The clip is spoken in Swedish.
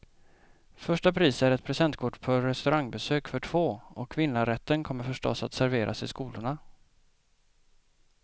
Första pris är ett presentkort på restaurangbesök för två, och vinnarrätten kommer förstås att serveras i skolorna.